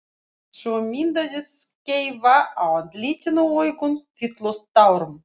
Svo myndaðist skeifa á andlitinu og augun fylltust tárum.